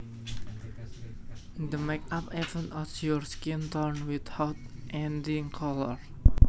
The makeup evens out your skin tone without adding color